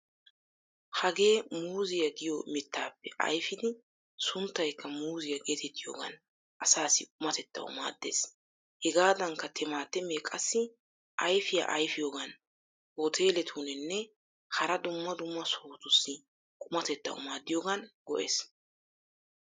Hagee muuzziya giyo mittaappe ayfidi sunttaykka muuzziya geetettiyogan asaassi qumatettawu maaddeees. Hegaadankka timaatimee qassi ayfiya ayfiyogan hooteeletunne hara dumma dumma sohotussi qumatettawu maaddiyogan go'ees.